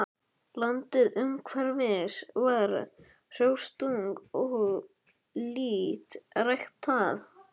Landið umhverfis var hrjóstrugt og lítt ræktað.